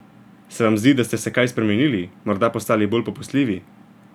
Se vam zdi, da ste se kaj spremenili, morda postali bolj popustljivi?